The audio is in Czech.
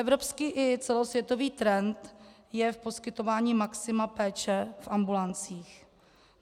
Evropský i celosvětový trend je v poskytování maxima péče v ambulancích.